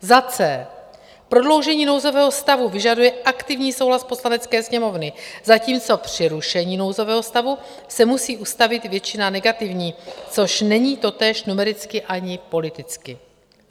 c) prodloužení nouzového stavu vyžaduje aktivní souhlas Poslanecké sněmovny, zatímco při rušení nouzového stavu se musí ustavit většina negativní, což není totéž numericky ani politicky;